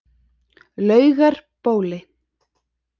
Laugarbóli